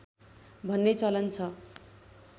भन्ने चलन छ